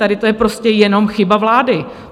Tady to je prostě jenom chyba vlády.